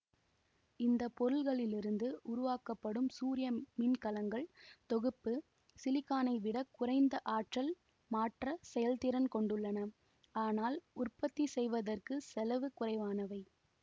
இந்த பொருள்களிலிருந்து உருவாக்கப்படும் சூரிய மின்கலங்கள் தொகுப்பு சிலிக்கானை விட குறைந்த ஆற்றல் மாற்ற செயல்திறன் கொண்டுள்ளன ஆனால் உற்பத்தி செய்வதற்கு செலவு குறைவானவை